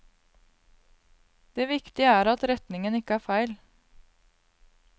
Det viktige er at retningen ikke er feil.